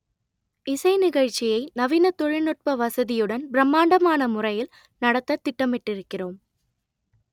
இசை நிகழ்ச்சியை நவீன தொழில்நுட்ப வசதியுடன் பிரம்மாண்டமான முறையில் நடத்த திட்டமிட்டிருக்கிறோம்